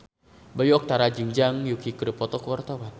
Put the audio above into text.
Bayu Octara jeung Zhang Yuqi keur dipoto ku wartawan